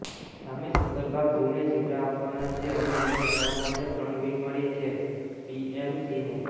સામે સક્કરબાગ ઝૂને ઝીબ્રા આપવાના છે અને એને લાવવા માટે ત્રણ બિડ મળી છે બીએમસીને